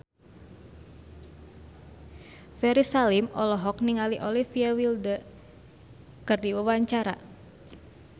Ferry Salim olohok ningali Olivia Wilde keur diwawancara